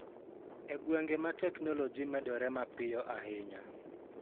E gwenge ma teknoloji medore mapiyo ahinya.